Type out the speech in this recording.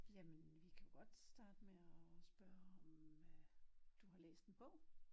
Jamen vi kan jo godt starte med at spørge om øh du har læst en bog